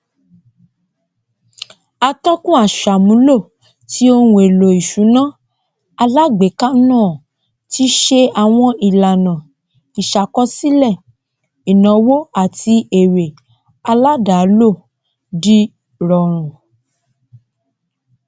atọkùn aṣàmúlò tí ohúnèlò ìsúná alágbèéká náà tí se àwọn ìlànà ìsàkọsílẹ ìnáwó àtí èrè aládàálò dìrọrùn